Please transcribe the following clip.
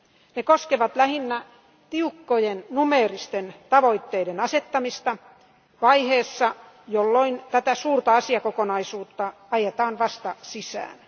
Ne koskevat lähinnä tiukkojen numeeristen tavoitteiden asettamista vaiheessa, jolloin tätä suurta asiakokonaisuutta ajetaan vasta sisään.